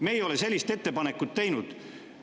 Me ei ole sellist ettepanekut teinud.